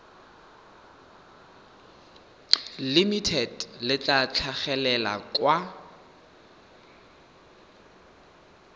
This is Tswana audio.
limited le tla tlhagelela kwa